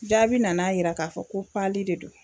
Jaabi nan'a yira k'a fɔ ko pali de do.